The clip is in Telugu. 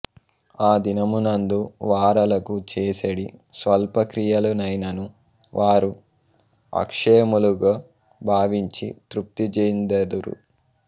ఆదినమునందు వారలకు చేసెడి స్వల్పక్రియలనైనను వారు అక్షయములుగ భావించి తృప్తిఁజెందుదురు